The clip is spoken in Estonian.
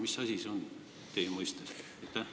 Mis asi see on teie mõistes?